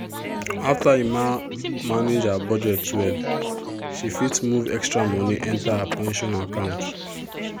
after emma manage her budget well she fit move extra money enter her pension account.